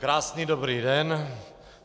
Krásný dobrý den.